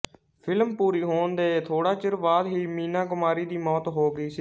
film ਪੂਰੀ ਹੋਣ ਦੇ ਥੋੜਾ ਚਿਰ ਬਾਅਦ ਹੀ ਮੀਨਾ ਕੁਮਾਰੀ ਦੀ ਮੌਤ ਹੋ ਗਈ ਸੀ